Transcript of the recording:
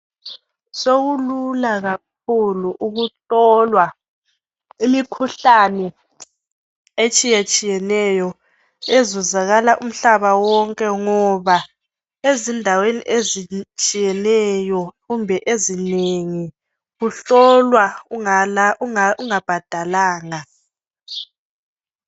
Sokulula kakhulu ukuhlola imikhuhlane etshiyatshiyeneyo ezuzakala umhlaba wonke ngoba ezindaweni ezitshiyeneyo kumbe ezinengi kuhlolwa ungabhadalanga.